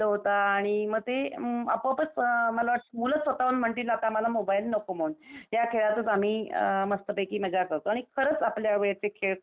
मग ते आपोआपच मुलं स्वतःहून म्हणतील आता मला मोबाइल नको म्हणून. या खेळतच आम्ही अं मस्तपैकी मजा करतो आणि खरच आपल्या वेळेस ते खेळ खूप छान होते.